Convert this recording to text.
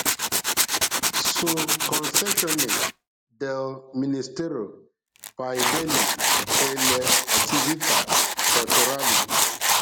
Su concessione del Ministero per i Beni e le Attività Culturali